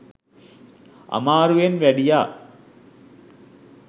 අමාරුවෙන් වැඩියා